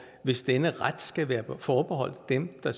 hvis denne ret skal være forbeholdt dem der